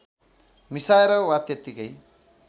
मिसाएर वा त्यतिकै